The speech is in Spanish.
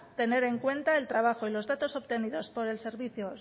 tener en cuenta el trabajo y los datos obtenidos por el servicio